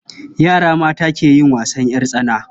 Yara mata ke yin wasan ƴar tsana.